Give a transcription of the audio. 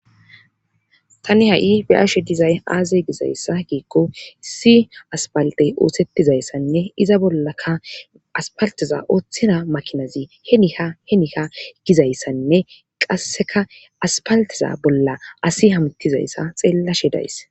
Tani ha'i be'ashe dizay aaze gizayssa giikko issi asfaltey oosettizayssanne iza bollakka asfalteza ooththiza maakinazi heni ha heni ha gizayssanne qasseka asfalteza bolla asi haamutizayssa xeellashe days